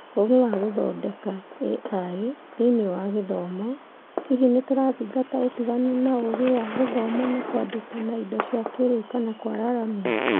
Ũũgĩ wa gũthondeka (AI) Thĩinĩ wa Gĩthomo, hihi Nĩtũrathinga ũtiganu na ũũgĩ wa gũthoma na kwandĩka na indo cia kĩrĩu kana kũwararamia